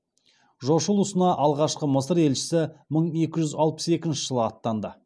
жошы ұлысына алғашқы мысыр елшісі мың екі жүз алпыс екінші жылы аттанды